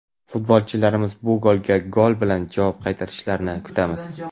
Futbolchilarimiz bu golga gol bilan javob qaytarishlarini kutamiz!.